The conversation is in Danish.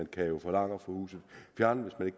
kan jo forlange at få huset fjernet hvis man